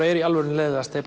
er í alvörunni leiðinlegast er